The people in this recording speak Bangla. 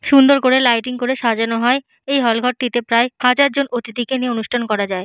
সুন্দর করে লাইটিং করে সাজানো হয়। এই হল ঘরটিতে প্রায় হাজার জন অতিথিকে নিয়ে অনুষ্ঠান করা যায়।